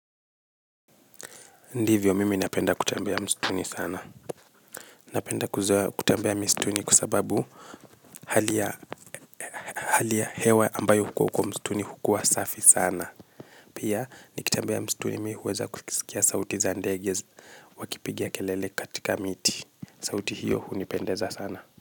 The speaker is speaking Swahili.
Ndivyo mimi napenda kutembea mstuni sana napenda kutembea mistuni kua sababu halia halia hewa ambayo huko mstuni hukua safi sana pia nikitembea msituni ninaweza kusikia sauti za ndege wakipiga kelele katika miti sauti hiyo hunipendeza sana.